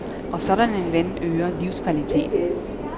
Og sådan en ven øger livskvaliteten.